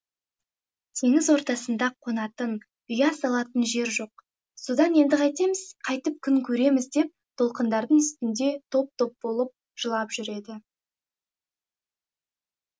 теңіз ортасында қонатын ұя салатын жер жоқ содан енді қайтеміз қайтіп күн көреміз деп толқындардың үстінде топ топ болып жылап жүреді